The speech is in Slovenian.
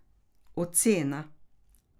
Ocena?